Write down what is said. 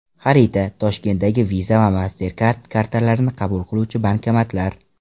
Xarita: Toshkentdagi Visa va MasterCard kartalarini qabul qiluvchi bankomatlar.